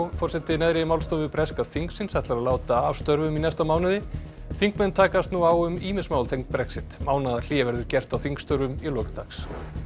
forseti neðri málstofu breska þingsins ætlar að láta af störfum í næsta mánuði þingmenn takast nú á um ýmis mál tengd Brexit mánaðarhlé verður gert á þingstörfum í lok dags